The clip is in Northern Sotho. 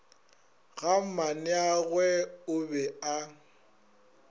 ga mmaneagwe o be a